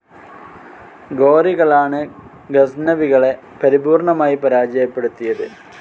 ഗോറികളാണ് ഗസ്നവികളെ പരിപൂർണമായി പരാജയപ്പെടുത്തിയത്.